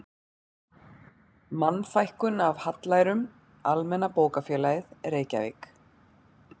Mannfækkun af hallærum, Almenna bókafélagið, Reykjavík